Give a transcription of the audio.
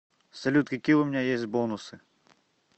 салют какие у меня есть бонусы